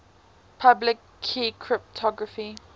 public key cryptography